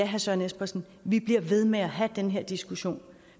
herre søren espersen vi bliver ved med at have den her diskussion